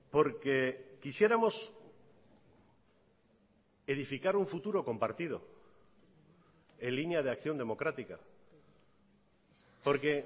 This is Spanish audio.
porque quisiéramos edificar un futuro compartido en línea de acción democrática porque